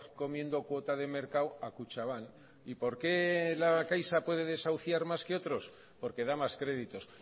comiendo cuota de mercado a kutxabank y por qué la caixa puede desahuciar más que otros porque da más créditos